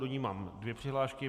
Do ní mám dvě přihlášky.